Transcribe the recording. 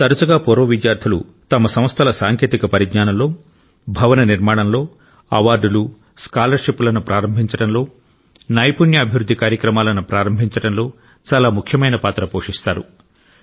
తరచుగా పూర్వ విద్యార్థులు తమ సంస్థల సాంకేతిక పరిజ్ఞానంలో భవన నిర్మాణంలో అవార్డులు స్కాలర్షిప్లను ప్రారంభించడంలో నైపుణ్య అభివృద్ధి కార్యక్రమాలను ప్రారంభించడంలో చాలా ముఖ్యమైన పాత్ర పోషిస్తారు